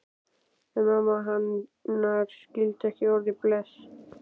En mamma hennar skildi ekki orðið bless.